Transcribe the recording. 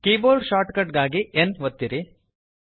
keyboard shortcut ಗಾಗಿ N ಒತ್ತಿರಿ